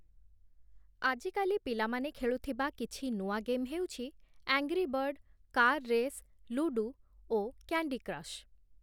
ଆଜିକାଲି ପିଲାମାନେ ଖେଳୁଥିବା କିଛି ନୂଆ ଗେମ୍ ହେଉଛି, 'angry bird', 'car race', 'ludo' ଓ 'କ୍ୟାଣ୍ଡି କ୍ରଶ୍‌' ।